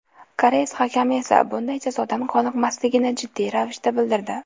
Koreys hakami esa bunday jazodan qoniqmasligini jiddiy ravishda bildirdi.